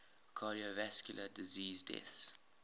cardiovascular disease deaths